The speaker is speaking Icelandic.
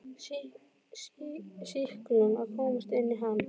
sýklum að komast inn í hann.